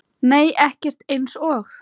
Nei ekkert eins og